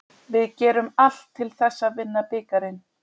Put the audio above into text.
Við gerum allt til þess að vinna bikarinn.